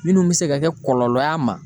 Minnu bɛ se ka kɛ kɔlɔlɔ y'a ma.